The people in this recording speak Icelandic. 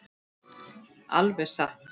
Alveg satt!